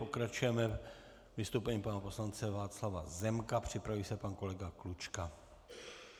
Pokračujeme vystoupením pana poslance Václava Zemka, připraví se pan kolega Klučka.